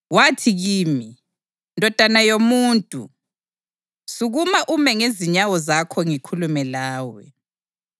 Wathi kimi, “Ndodana yomuntu, sukuma ume ngezinyawo zakho ngikhulume lawe.”